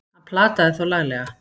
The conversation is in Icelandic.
Hann plataði þá laglega!